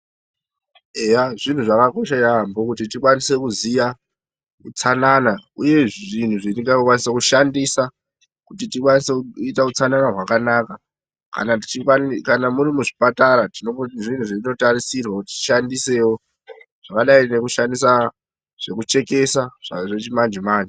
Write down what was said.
Eya zviro zvakakosha yaambo kuti tikwanise kuziya utsanana uye zvinhu zvetingakwanise kushandisa kuti tikwanise kuita utsanana hwakanaka. Kana muri muzvipatara tine zvinhu zvinototarisirwa kuti tishandisewo zvakadai ngekushandisa zvekuchekesa zvechimanje-manje.